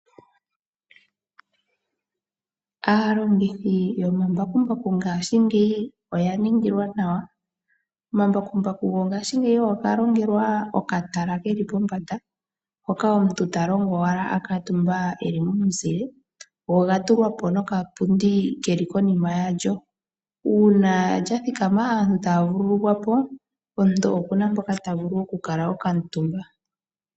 Aalongithi yomambakumbaku ngashingeyi oyaningilwa nawa. Omambakumbaku gongashingeyi ogalongelwa okatala keli pombanda, hoka omuntu talongo owala akutumba eli momuzile go oga tulwa po nokapundi keli konima yalyo, una lyathikama aantu taya vululukwa po omuntu okuna mpoka tavulu okukala okamutumba.